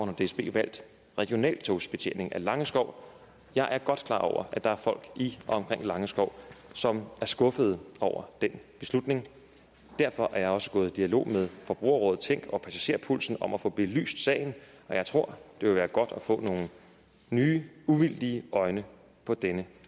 har dsb valgt regionaltogsbetjening af langeskov jeg er godt klar over at der er folk i og omkring langeskov som er skuffede over den beslutning derfor er jeg også gået i dialog med forbrugerrådet tænk og passagerpulsen om at få belyst sagen og jeg tror det vil være godt at få nogle nye uvildige øjne på denne